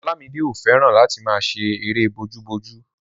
Olamide ò fẹ́ràn láti máa ṣe erée bojúbojú